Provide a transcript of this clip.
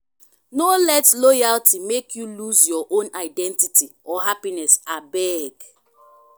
no let loyalty make you lose your own identity or happiness abeg.